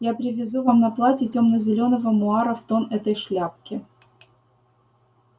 я привезу вам на платье тёмно-зелёного муара в тон этой шляпке